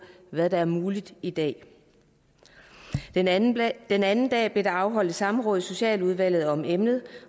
hvad der er muligt i dag den anden den anden dag blev der afholdt et samråd i socialudvalget om emnet